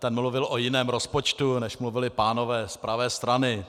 Ten mluvil o jiném rozpočtu, než mluvili pánové z pravé strany.